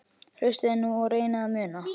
Hlustiði nú og reynið að muna